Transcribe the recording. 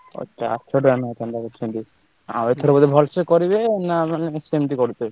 ଓ ଚାରିଶହ ଟଙ୍କା ଲେଖାଁ ଚାନ୍ଦା କରିଛନ୍ତି ଆଉ ଏଥର ଭଲସେ କରିନବେ ନା ମାନେ ସେମତି କରିବେ?